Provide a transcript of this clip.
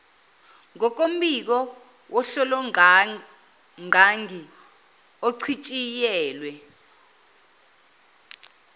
ngokombiko wohlolongqangi ochitshiyelwe